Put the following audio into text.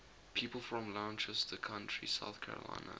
people from lancaster county south carolina